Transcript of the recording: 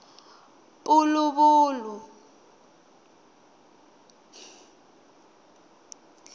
puluvulu